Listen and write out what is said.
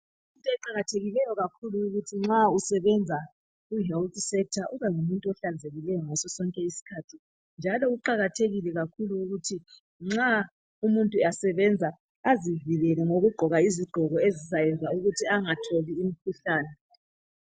kuyinto eqakathekileyo kakhulu ukuthi nxa usebenza kuhealth sector ubengumuntu ohlanzekileyo ngaso sonke isikhathi njalo kuqakathekile kakhulu ukuthi umuntu nxa esebenza azivikele ngokugqoka izigqoko ezizayenza angatholi imikhuhlane